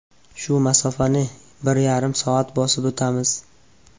Shu masofani bir yarim soatda bosib o‘tamiz.